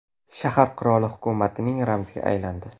Shahar qirol hukumatining ramziga aylandi.